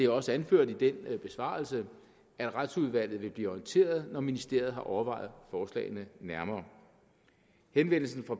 også anført i den besvarelse at retsudvalget vil blive orienteret når ministeriet har overvejet forslagene nærmere henvendelsen fra